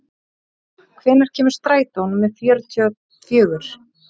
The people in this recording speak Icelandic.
Benta, hvenær kemur strætó númer fjörutíu og fjögur?